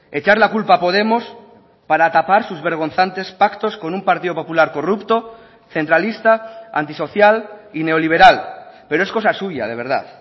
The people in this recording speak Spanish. echar la culpa a podemos para tapar sus vergonzantes pactos con un partido popular corrupto centralista antisocial y neoliberal pero es cosa suya de verdad